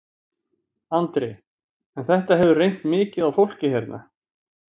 Andri: En þetta hefur reynt mikið á fólkið hérna?